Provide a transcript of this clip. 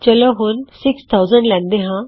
ਚਲੋ ਹੁਣ 6000 ਲੈਣਦਾ ਹਾਂ